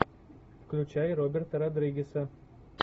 включай роберта родригеса